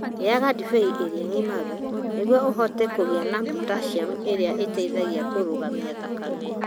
Rĩaga ndibei ĩrĩa yagimaru nĩguo ũhote kũgĩa na potassium, ĩrĩa ĩteithagia kũrũgamia thakame.